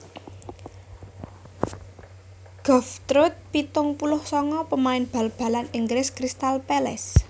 Geoff Truett pitung puluh sanga pamain bal balan Inggris Crystal Palace